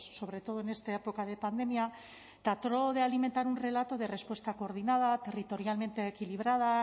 sobre todo en esta época de pandemia trató de alimentar un relato de respuesta coordinada territorialmente equilibrada